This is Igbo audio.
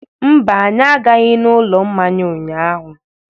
Mba, anyị agaghị n'ụlọ mmanya ụnyaahụ.